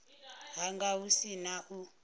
hanga hu si na u